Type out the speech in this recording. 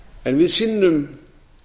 en við sinnum